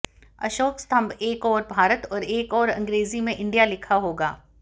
अशोक स्तंभ एक ओर भारत और एक ओर अंग्रेजी में इंडिया लिखा होगा